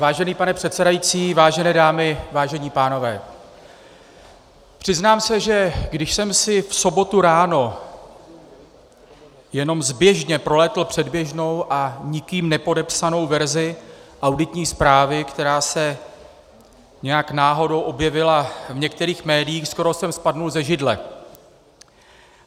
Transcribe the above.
Vážený pane předsedající, vážené dámy, vážení pánové, přiznám se, že když jsem si v sobotu ráno jenom zběžně prolétl předběžnou a nikým nepodepsanou verzi auditní zprávy, která se nějak náhodou objevila v některých médiích, skoro jsem spadl ze židle.